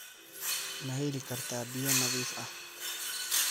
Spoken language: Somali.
Ma heli kartaa biyo nadiif ah?